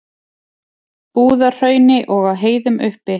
Búðahrauni og á heiðum uppi.